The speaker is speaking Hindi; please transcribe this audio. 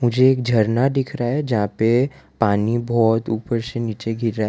मुझे एक झरना दिख रहा है। जहां पे पानी बहोत ऊपर से नीचे गिर रहा है।